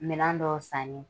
Minɛn dɔw sanni ye